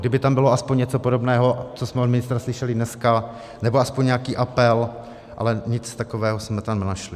Kdyby tam bylo aspoň něco podobného, co jsme od ministra slyšeli dnes, nebo aspoň nějaký apel, ale nic takového jsme tam nenašli.